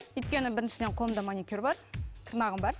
өйткені біріншіден қолымда маникюр бар тырнағым бар